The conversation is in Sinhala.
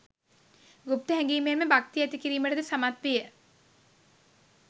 ගුප්ත හැඟීම් මෙන්ම භක්තිය ඇති කිරීමට ද සමත් විය.